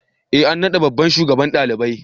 E an naɗa babban shugaban ɗalibai.